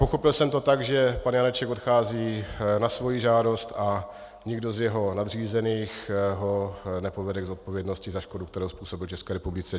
Pochopil jsem to tak, že pan Janeček odchází na svoji žádost a nikdo z jeho nadřízených ho nepovede k zodpovědnosti za škodu, kterou způsobil České republice.